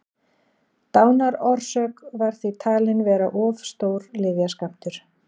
dánarorsök var því talin vera of stór lyfjaskammtur